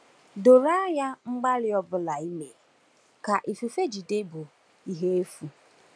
Doro anya, mgbalị ọ bụla ime ka ifufe jide bụ ihe efu.